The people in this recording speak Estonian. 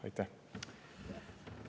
Aitäh!